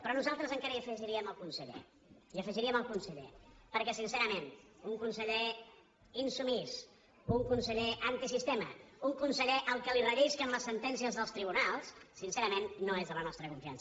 però nosaltres encara hi afegiríem el conseller hi afegiríem el conseller perquè sincerament un conseller insubmís un conseller antisistema un conseller al que li rellisquen les sentències dels tribunals sincerament no és de la nostra confiança